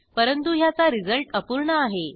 परंतु ह्याचा रिझल्ट अपूर्ण आहे